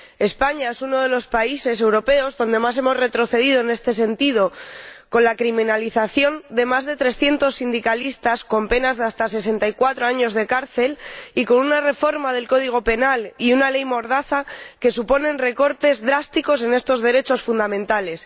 España es uno de los países europeos donde más hemos retrocedido en este sentido, con la criminalización de más de 300 sindicalistas, con penas de hasta 64 años de cárcel y con una reforma del Código Penal y una ley mordaza que suponen recortes drásticos en estos derechos fundamentales.